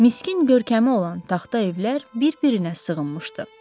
Miskin görkəmi olan taxta evlər bir-birinə sığınmışdı.